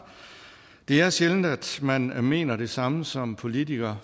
det er sjældent at man mener det samme som politiker